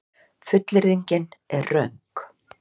Fullyrðingin er röng.